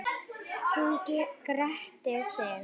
Hún gretti sig.